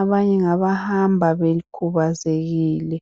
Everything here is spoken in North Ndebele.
abanye ngaba hamaba bekhubazekile